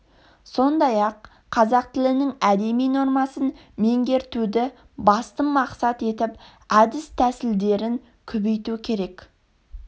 сондай-ақ қазақ тілінің әдеби нормасын меңгертуді басты мақсат етіп әдіс-тәсілдерін көбейту керек